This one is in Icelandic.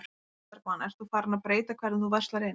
Sólveig Bergmann: Ert þú farin að breyta hvernig þú verslar inn?